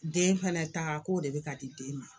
Den fɛnɛ ta k'o de be ka di den ma